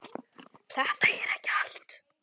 Þetta er ekki allt.